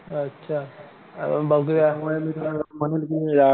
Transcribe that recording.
अच्छा बघूया